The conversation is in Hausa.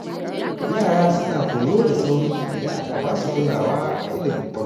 Yara suna koyo da sauri idan aka ba su kulawa a ilimin farko.